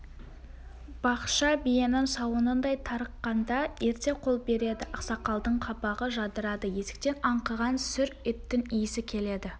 бақша биенің сауынындай тарыққанда ерте қол береді ақсақалдың қабағы жадырады есіктен аңқыған сүр еттің иісі келеді